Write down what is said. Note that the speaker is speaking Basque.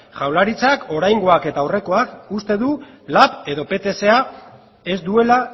jaurlaritzak oraingoak eta aurrekoak uste du lap edo ptsak ez duela